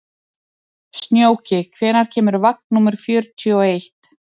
Snjóki, hvenær kemur vagn númer fjörutíu og eitt?